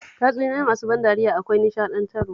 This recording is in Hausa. Tatsuniyoyi masu ban dariya akwai nishaɗantarwa